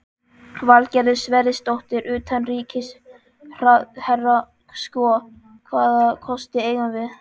Valgerður Sverrisdóttir, utanríkisráðherra: Sko, hvaða kosti eigum við?